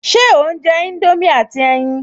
Ṣe ò ń jẹ indomie àti ẹyin?